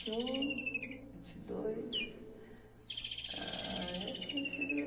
vinte e um, vinte e dois, ah, eu conheci devia